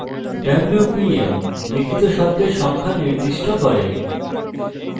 wpm – আপনার দ্বারা লিখিত শব্দের সংখ্যা নির্দিষ্ট করে